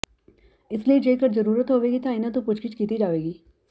ਇਸ ਲਈ ਜੇਕਰ ਜਰੂਰਤ ਹੋਵੇਗੀ ਤਾਂ ਇਹਨਾਂ ਤੋਂ ਪੁੱਛਗਿੱਛ ਕੀਤਾ ਜਾਵੇਗੀ